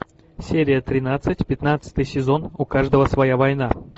серия тринадцать пятнадцатый сезон у каждого своя война